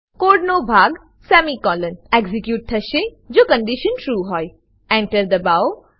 code નો ભાગ semicolon execute થશે જો કન્ડીશન ટ્રૂ હોય Enter દબાવો